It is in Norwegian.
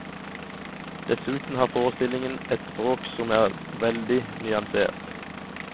Dessuten har forestillingen et språk som er veldig nyansert.